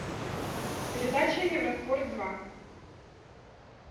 передача евроспорт два